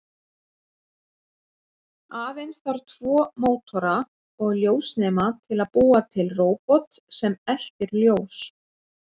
Aðeins þarf tvo mótora og ljósnema til að búa til róbot sem eltir ljós.